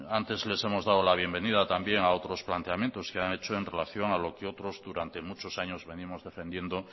antes les hemos dado la bienvenida también a otros planteamientos que han hecho en relación a lo que otros durante muchos años venimos defendiendo